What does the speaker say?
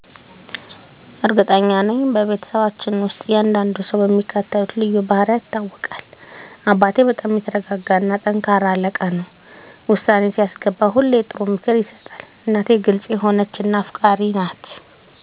እርግጠኛ ነኝ፤ በቤተሰባችን ውስጥ እያንዳንዱ ሰው በሚከተሉት ልዩ ባህሪያት ይታወቃል - አባቴ በጣም የተረጋጋ እና ጠንካራ አለቃ ነው። ውሳኔ ሲያስገባ ሁሌ ጥሩ ምክር ይሰጣል። **እናቴ** ግልጽ የሆነች እና አፍቃሪች ናት። ቤቷን በፍቅር ትያዘው እና ለሁሉም እርዳታ ትደርሳለች። **ትልቁ ወንድሜ** ተሳሳቂ እና ቀልደኛ ነው። ማንኛውንም ሁኔታ በቀላሉ በሚስጥር ያቃልለዋል። **ትንሹ እህቴ** በጣም ፈጣሪ እና አስተያየት የምትሰጥ ናት። ሁል ጊዜ አዲስ ሀሳቦች አሉት። **እኔ** ደግሞ አዘጋጅ እና ሰላማዊ እንደ መሃከል ይታወቃለሁ። ቤተሰቡን ያስተባብራል እና ሰላም ይፈጥራል። ይህ ልዩነት ቤተሰባችንን የበለጠ ያስተባብራል እና ልዩ ያደርገዋል።